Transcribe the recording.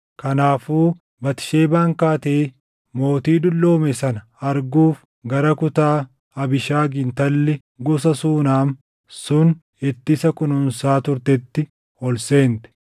Kanaafuu Batisheebaan kaatee mootii dulloome sana arguuf gara kutaa Abiishagi intalli gosa Suunam sun itti isa kunuunsaa turteetti ol seente.